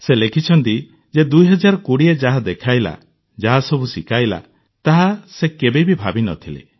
ସେ ଲେଖିଛନ୍ତି ଯେ 2020 ଯାହା ଦେଖାଇଲା ଯାହାସବୁ ଶିଖାଇଲା ତାହା ସେ କେବେ ଭାବିନଥିଲେ